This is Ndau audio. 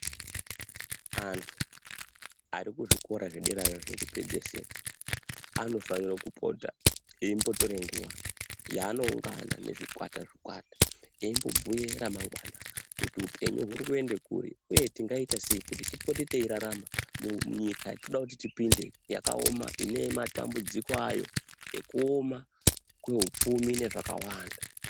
Antu ari kuzvikora zvedera zviya zvekupedzesera anofanire kupota eimbotore nguva yaano ungana zvikwata zvikwata eimbobhuye ramangwana kuti upenyu uri kuende kuri uye tingaita sei kuti tipote teirarama munyika yatinoda kuti tipinde yakaoma ine matumbudziko ayo ekuoma neupfumi nezvakawanda.